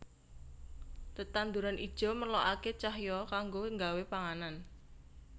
Tetanduran ijo merlokaké cahya kanggo nggawé panganan